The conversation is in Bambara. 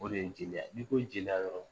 O de ye jeliya, n'i ko jeliya dɔrɔnw.